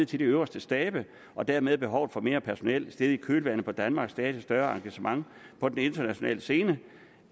til de øverste stabe og dermed behovet for mere personel steget i kølvandet på danmarks stadig større engagement på den internationale scene